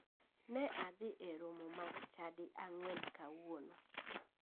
Ne adhi e romo mag chadi ang'wen kawuono.